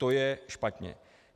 To je špatně.